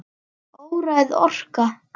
Óræð orka.